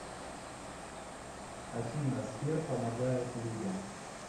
афина сбер помогает людям